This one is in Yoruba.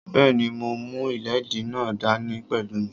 Bẹ́ẹ̀ni, mo mú ìléèdí náà dá ní pẹ̀lú mí